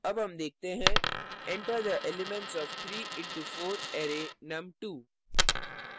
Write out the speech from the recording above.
अब हम देखते हैं enter the elements of 3 into 4 array num2